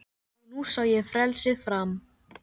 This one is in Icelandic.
Og nú sá ég frelsið fram